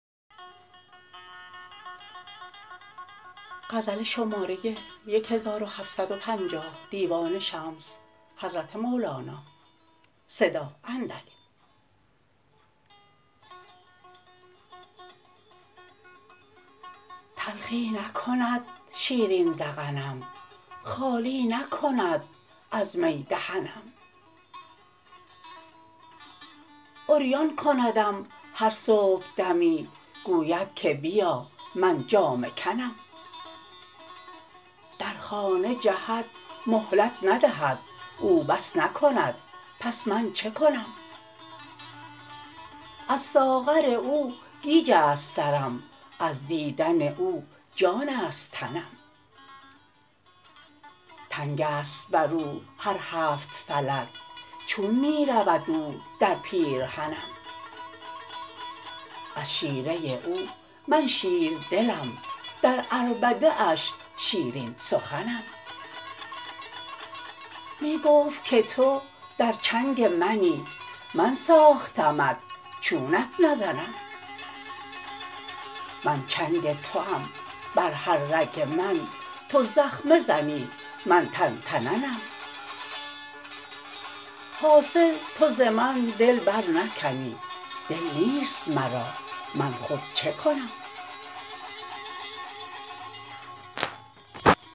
تلخی نکند شیرین ذقنم خالی نکند از می دهنم عریان کندم هر صبحدمی گوید که بیا من جامه کنم در خانه جهد مهلت ندهد او بس نکند پس من چه کنم از ساغر او گیج است سرم از دیدن او جان است تنم تنگ است بر او هر هفت فلک چون می رود او در پیرهنم از شیره او من شیردلم در عربده اش شیرین سخنم می گفت که تو در چنگ منی من ساختمت چونت نزنم من چنگ توام بر هر رگ من تو زخمه زنی من تن تننم حاصل تو ز من دل برنکنی دل نیست مرا من خود چه کنم